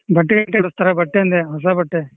ಬಟ್ಟೆ ಗಿಟ್ಟೆ ಕೊಡಸ್ತಾರ, ಬಟ್ಟೆ ಅಂದೆ ಹೊಸ ಬಟ್ಟೆ.